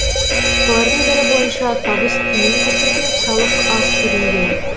солардың бірі бойынша табыс төмен көрсетіліп салық аз төленген